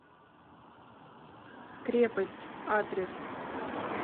крепость адрес